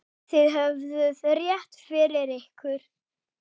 Þið höfðuð rétt fyrir ykkur.